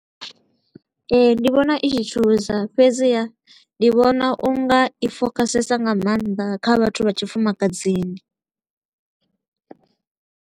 Ee, ndi vhona i tshi thusa, fhedziha ndi vhona u nga i focusesa nga maanḓa kha vhathu vha tshifumakadzini.